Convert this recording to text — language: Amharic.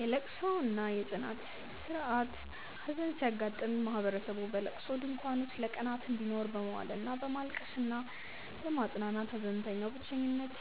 የልቅሶ እና የጽናት ሥርዓት ሐዘን ሲያጋጥም ማህበረሰቡ በልቅሶ ድንኳን ውስጥ ለቀናት እንዲኖር በመዋል እና በማልቀስ እና በማጽናናት ሐዘንተኛው ብቸኝነት